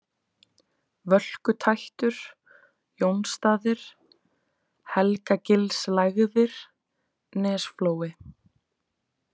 Völkutættur, Jónsstaðir, Helgagilslægðir, Nesflói